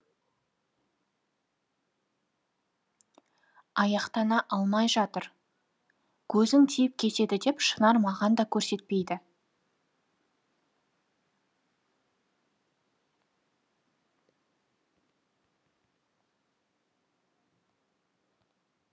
аяқтана алмай жатыр көзің тиіп кетеді деп шынар маған да көрсетпейді